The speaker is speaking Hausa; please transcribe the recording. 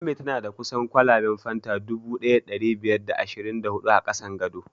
Ummi tana da kusan kwalaben fanta dubu ɗaya da ɗari biyar da ashirin da hudu a ƙasan gado